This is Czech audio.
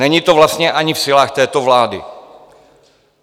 Není to vlastně ani v silách této vlády.